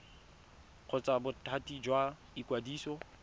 kgotsa bothati jwa ikwadiso go